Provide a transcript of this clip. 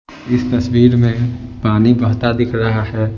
इस तस्वीर में पानी बहता दिख रहा है ।